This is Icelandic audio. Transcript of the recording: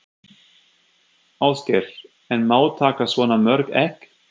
Ásgeir: En má taka svona mörg egg?